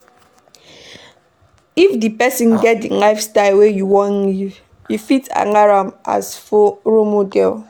If di person get di lifestyle wey you wan live, you fit follow am as role model